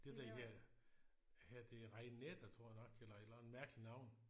Det der hedder hedder det Rainetter tror jeg nok eller et eller andet mærkeligt navn